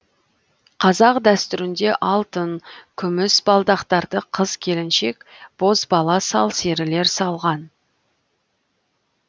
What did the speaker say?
қазақ дәстүрінде алтын күміс балдақтарды қыз келіншек бозбала сал серілер салған